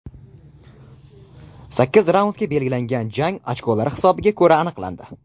Sakkiz raundga belgilangan jang ochkolar hisobiga ko‘ra aniqlandi.